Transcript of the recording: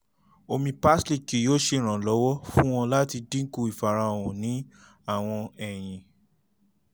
omi parsley kii yoo ṣe iranlọwọ fun ọ lati dinku ifarahan ni awọn eyin